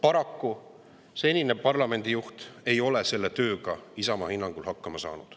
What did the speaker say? Paraku senine parlamendi juht ei ole Isamaa hinnangul selle tööga hakkama saanud.